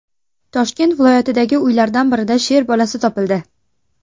Toshkent viloyatidagi uylardan birida sher bolasi topildi .